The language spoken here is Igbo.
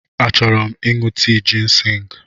Achọrọ m ịṅụ tii jịnsịng.